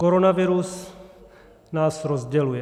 Koronavirus nás rozděluje.